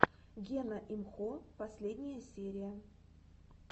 гена имхо последняя серия